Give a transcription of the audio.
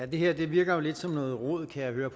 det her virker jo lidt som noget rod kan jeg høre